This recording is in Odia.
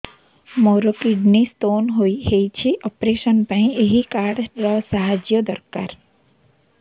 ମୋର କିଡ଼ନୀ ସ୍ତୋନ ହଇଛି ଅପେରସନ ପାଇଁ ଏହି କାର୍ଡ ର ସାହାଯ୍ୟ ଦରକାର